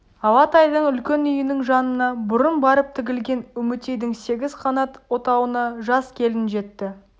алатайдың үлкен үйінің жанына бұрын барып тігілген үмітейдің сегіз қанат отауына жас келін жетті